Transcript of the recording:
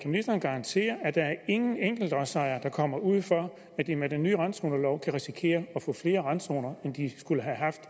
ministeren garantere at der ingen enkeltlodsejere er der kommer ud for at de med den nye randzonelov kan risikere at få flere randzoner end de skulle have haft